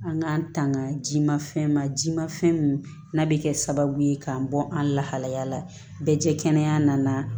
An k'an tanga ji ma fɛn ma jimafɛn min n'a bɛ kɛ sababu ye k'an bɔ an lahalaya la bɛ kɛnɛya